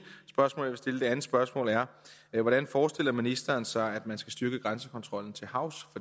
spørgsmål stille det andet spørgsmål er hvordan forestiller ministeren sig at man skal styrke grænsekontrollen til havs